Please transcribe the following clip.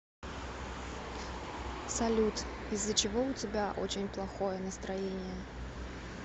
салют из за чего у тебя очень плохое настроение